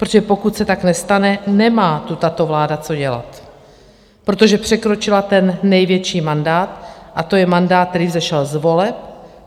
Protože pokud se tak nestane, nemá tu tato vláda co dělat, protože překročila ten největší mandát, a to je mandát, který vzešel z voleb.